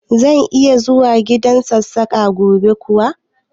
Zan iya zuwa gidan Sassaƙa gobe kuwa?